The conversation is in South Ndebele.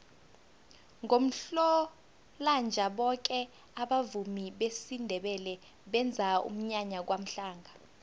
ngomhlolanja boke abavumi besindebele benza umnyanya kwamhlanga